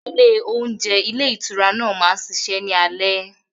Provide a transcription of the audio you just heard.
Ile ohúnjẹ ilé ìtura náà máa ń ṣiṣẹ́ ní alé.